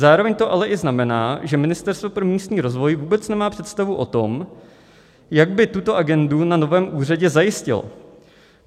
Zároveň to ale i znamená, že Ministerstvo pro místní rozvoj vůbec nemá představu o tom, jak by tuto agendu na novém úřadě zajistilo.